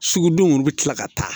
Sugudenw bɛ tila ka taa